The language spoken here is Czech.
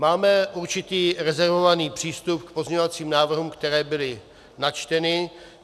Máme určitý rezervovaný přístup k pozměňovacím návrhům, které byly načteny.